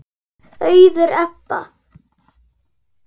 Auður Ebba.